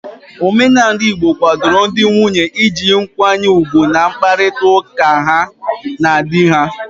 Omenala igbo kwadoro ndị nwunye iji nkwanye ugwu n'mkparịta ụka ha ndị di ha